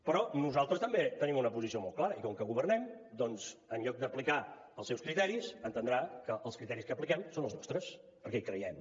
però nosaltres també tenim una posició molt clara i com que governem en lloc d’aplicar els seus criteris ha d’entendre que els criteris que apliquem són els nostres perquè hi creiem